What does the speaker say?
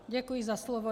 Děkuji za slovo.